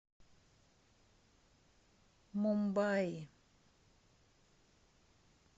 мумбаи